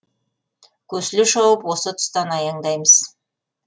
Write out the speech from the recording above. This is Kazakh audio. көсіле шауып осы тұстан аяңдаймыз